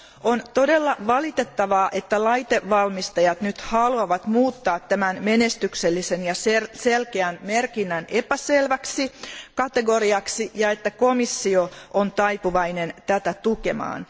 On todella valitettavaa, että laitevalmistajat haluavat nyt muuttaa tämän menestyksellisen ja selkeän merkinnän epäselväksi kategoriaksi ja että komissio on taipuvainen tätä tukemaan.